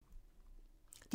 DR2